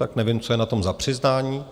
Tak nevím, co je na tom za přiznání.